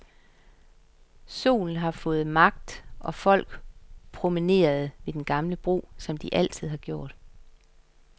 Solen havde fået magt og folk promenerede ved den gamle bro, som de altid har gjort.